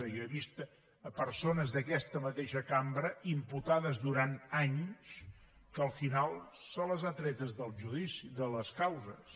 jo he vist persones d’aquesta mateixa cambra imputades durant anys que al final se les ha tretes de les causes